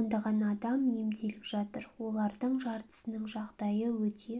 ондаған адам емделіп жатыр олардың жартысының жағдайды өте